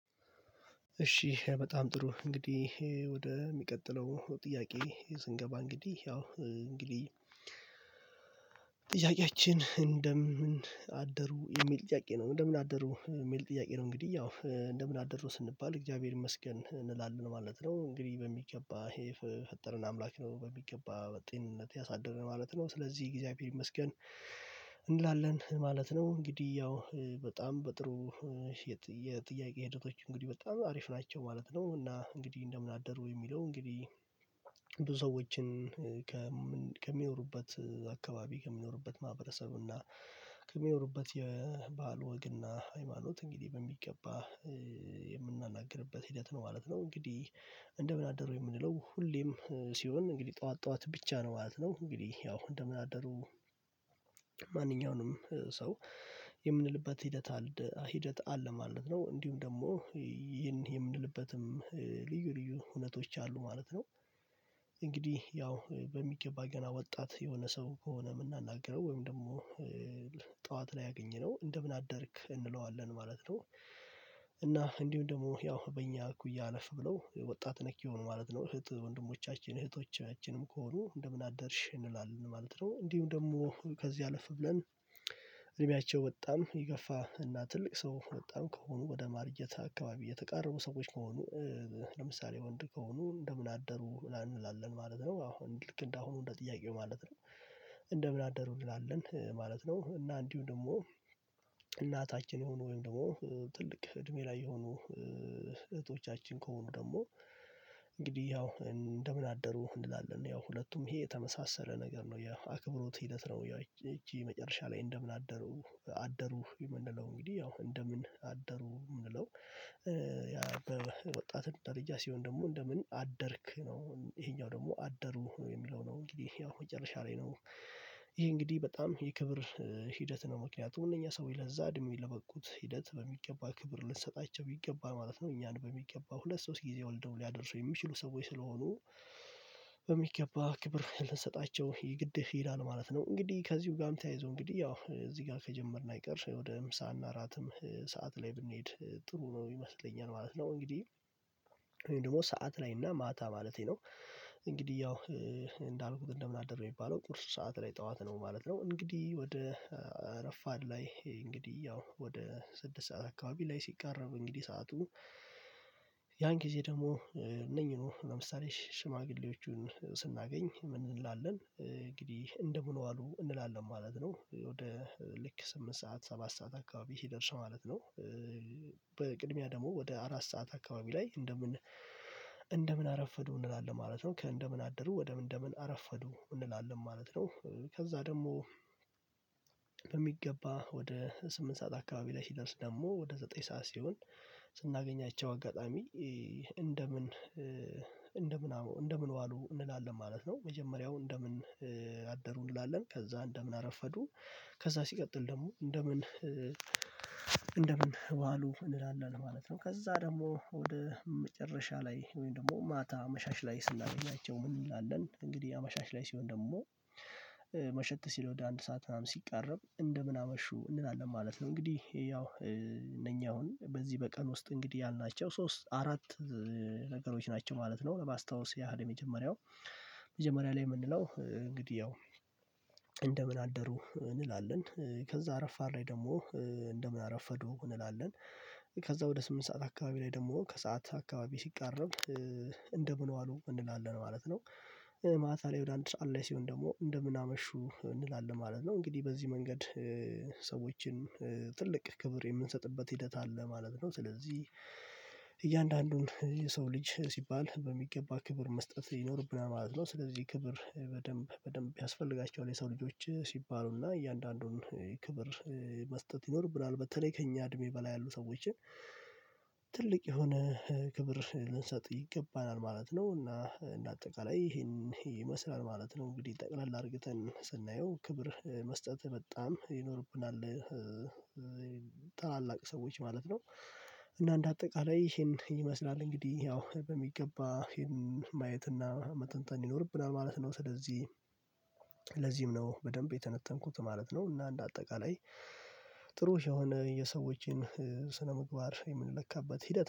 እሺ በጣም ጥሩ እንግዲህ ወደ የሚቀጥለው ጥያቄ ስንገባ እንግዲህ ያው እንግዲህ ጥያቄያችን እንደምን አደሩ የሚል ጥያቄ ነው እንደምን አደሩ የሚል ጥያቄ ነው? እንግዲህ ያው እንደምን አደሩ ስንባል እግዚአብሔር ይመስገን እንላለን ማለት ነው እንግዲህ በሚገባ የፈጠረን አምላክ ነው በሚገባ በጤንነት ያሳደረን ማለት ነው ስለዚህ እግዚአብሔር ይመስገን እንላለን ማለት ነው። እንግዲህ ያው በጣም በጥሩ የጥያቄ ሂደቶች እንግዲህ በጣም አሪፍ ናቸው ማለት ነው። እና እንግዲህ እንደምን አደሩ የሚለው እንግዲህ ብዙ ሰዎችን ከሚኖሩበት አካባቢ ከሚኖሩበት ማህበረሰቡና ከሚኖሩበት የባህል ወግና ሃይማኖት እንግዲህ በሚገባ የምናናግርበት ሂደት ነው ማለት ነው። እንግዲህ እንደምን አደሩ የምንለው ሁሌም ሲሆን እንግዲህ ጠዋት ጠዋት ስሆን ብቻ ነው ማለት ነው እንግዲህ ያው እንደምን አደሩ ማንኛውንም ሰው የምንልበት ሂደት አለ ሂደት አለ ማለት ነው። እንዲሁም ደግሞ ይህን የምንልበትም ልዩ ልዩ እውነቶች አሉ ማለት ነው። እንግዲህ ያው በሚገባ ገና ወጣት የሆነ ሰው ከሆነ የምናናግረው ወይም ደግሞ ጠዋት ላይ አግኝነው እንደምን አደርክ እንለዋለን ማለት ነው። እና እንዲሁም ደግሞ ያው በእኛ እኩይ አለፍ ብለው ወጣት ነክ ይሆን ማለት ነው እህት ወንድሞቻችን እህቶቻችንም ከሆኑ እንደምን አደርሽ እንላለን ማለት ነው። እንዲሁ ደግሞ ከዚህ አለፍ ብለን እድሜያቸው በጣም የገፋ እና ትልቅ ሰው በጣም ከሆኑ ወደ ማርጀት አካባቢ የተቃረቡ ሰዎች ከሆኑ ለምሳሌ ወንድ ከሆኑ እንደምን አደሩ እንላለን ማለት ነው። አሁን ልክ እንደ አሁኑ እንደ ጥያቄው ማለት ነው እንደምን አደሩ እንላለን ማለት ነው። እና እንዲሁ ደግሞ እናታችን ሆኖ ወይም ደግሞ ትልቅ እድሜ ላይ የሆኑ እህቶቻችን ከሆኑ ደግሞ እንግዲህ ያው እንደምን አደሩ እንላለን ያው ሁለቱም ይሄ የተመሳሰለ ነገር ነው ያው አክብሮት ሂደት ነው። ያው እቺ መጨረሻ ላይ እንደምን አደሩ አደሩ የምንለው እንግዲህ ያው እንደምን አደሩ የምንለው ያ ታዲያ ወጣት ደረጃ ሲሆን ደግሞ እንደምን አደርክ ነው ይሄኛው ደግሞ አደሩ የሚለው ነው እንግዲህ ያው መጨረሻ ላይ ነው ይሄ እንግዲህ በጣም የክብር ሂደት ነው ምክንያቱም እነኛ ሰውዬ ለዛ እድሜ ለበቁት ሂደት በሚገባ ክብር ልንሰጣቸው ይገባል ማለት ነው። እኛን በሚገባ ሁለት ሶስት ጊዜ ወልደው ሊያደርሱ የሚችሉ ሰዎች ስለሆኑ በሚገባ ክብር ልንሰጣቸው የግድ ይላል ማለት ነው። እንግዲህ ከዚሁ ጋር ተያይዘው እንግዲህ ያው እዚህ ጋር ከጀመርን አይቀርስም ወደ ምሳል እና ራትም ሰዓት ላይ ብንሄድ ጥሩ ነው የሚመስለኝ ማለት ነው። እንግዲህ እኔ ደግሞ ሰዓት ላይ እና ማታ ማለቴ ነው እንግዲህ ያው እንዳልኩት እንደምን አደር የሚባለው ቁርስ ሰዓት ላይ ጠዋት ነው ማለት ነው። እንግዲህ ወደ እረፋድ ላይ እንግዲህ ያው ወደ ስድስት ሰዓት አካባቢ ላይ ሲቃረቡ እንግዲህ ሰዓቱ ሰዓቱ ያን ጊዜ ደግሞ እነኚህ ነው ለምሳሌ ሽማግሌዎቹን ስናገኝ ምን እንላለን እንግዲህ እንደምን ዋሉ እንላለን ማለት ነው። ወደ ልክ ስምንት ሰዓት ሰባት ሰዓት አካባቢ ሲደርስ ማለት ነው በቅድሚያ ደግሞ ወደ አራት ሰዓት አካባቢ ላይ እንደምን እንደምን አረፈዱ እንላለን ማለት ነው። ከእንደምን አደሩ ወደ እንደምን አረፈዱ እንላለን ማለት ነው። ከዛ ደግሞ በሚገባ ወደ ስምንት ሰዓት አካባቢ ላይ ሲደርስ ደግሞ ወደ ዘጠኝ ሰዓት ሲሆን ስናገኛቸው አጋጣሚ እንደምን እንደምን እንደምን ዋሉ እንላለን ማለት ነው። መጀመሪያው እንደምን አደሩ እንላለን ከዛ እንደምን አረፈዱ ከዛ ሲቀጥል ደግሞ እንደምን እንደምን ዋሉ እንላለን ማለት ነው። ከዛ ደግሞ ወደ መጨረሻ ላይ ወይም ደግሞ ማታ አመሻሽ ላይ ስናገኛቸው ምን እንላለን እንግዲህ አመሻሻ ላይ ሲሆን ደግሞ መሸት ሲለው ወደ አንድ ሰዓት ምናምን ሲቃረብ እንደምን አመሹ እንላለን ማለት ነው። እንግዲህ ያው እነኛ አሁን በዚህ በቀን ውስጥ እንግዲህ ያልናቸው ሶስት አራት ነገሮች ናቸው ማለት ነው። ለማስታወስ ያህል የመጀመሪያው መጀመሪያ ላይ የምንለው እንግዲህ ያው እንደምን አደሩ እንላለን ከዛ ረፋድ ላይ ደግሞ እንደምን አረፈዱ እንላለን ከዛ ወደ ስምንት ሰዓት አካባቢ ላይ ደግሞ ከሰአት አካባቢ ሲቃረብ እንደምን ዋሉ እንላለን ማለት ነው። ማታ ላይ ወደ አንድ ሰዓት ሲሆን ደግሞ እንደምን አመሹ እንላለን ማለት ነው እንግዲህ በዚህ መንገድ ሰዎችን ትልቅ ክብር የምንሰጥበት ሂደት አለ ማለት ነው። ስለዚህ እያንዳንዱን የሰው ልጅ ሲባል በሚገባ ክብር መስጠት ይኖርብናል ማለት ነው። ስለዚህ ክብር በደንብ በደንብ ያስፈልጋቸዋል የሰው ልጆች ሲባሉና እያንዳንዱን ክብር መስጠት ይኖር ብላል በተለይ ከእኛ እድሜ በላይ ያሉ ሰዎችን ትልቅ የሆነ ክብር ልንሰጥ ይገባናል ማለት ነው። እና እንደ አጠቃላይ ይሄን ይሄ ይመስላል ማለት ነው እንግዲህ ጠቅላላ አድርገን ስናየው ክብር መስጠት በጣም ይኖርብናል ታላላቅ ሰዎች ማለት ነው። እና እንደ አጠቃላይ ይሄን ይመስላል እንግዲህ ያው በሚገባ ይሄን ማየት እና መጠንጠን ይኖርብናል ማለት ነው። ስለዚህ ለዚህም ነው በደንብ የተነተንኩት ማለት ነው። እና እንደ አጠቃላይ ጥሩ የሆነ የሰዎችን ስነምግባር የምንለካበት ሂደት